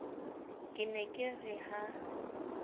ke ne ke re ha